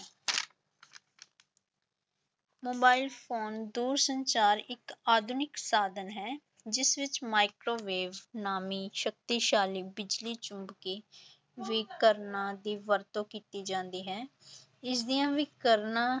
mobile phone ਦੂਰ ਸੰਚਾਰ ਇੱਕ ਆਧੁਨਿਕ ਸਾਧਨ ਹੈ ਜਿਸ ਵਿੱਚ ਮਾਈਕਰੋਵੇਵ ਨਾਮੀ ਸ਼ਕਤੀਸ਼ਾਲੀ ਬਿਜ਼ਲੀ ਚੁੰਬਕੀ ਵਿਕਰਨਾਂ ਦੀ ਵਰਤੋਂ ਕੀਤੀ ਜਾਂਦੀ ਹੈ ਇਸਦੀਆਂ ਵਿਕਰਨਾਂ